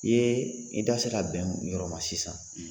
I ye i da sera bɛn min ma o yɔrɔ ma sisan